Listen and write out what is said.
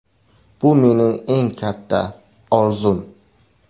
Bu mening eng katta orzum”.